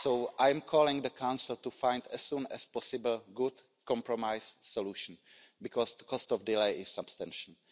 I call on the Council to find, as soon as possible, good compromise solutions because the cost of delay is substantial.